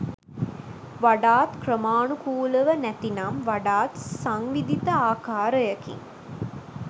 වඩාත් ක්‍රමානුකූලව නැතිනම් වඩාත් සංවිධිත ආකාරයකින්